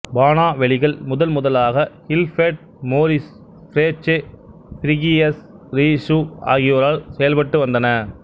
பானாக் வெளிகள் முதன்முதலாக இல்பேர்ட்டு மோரிசு பிரேச்சே பிரீகியசு ரீசு ஆகியோரால் செயல்பட்டு வந்தன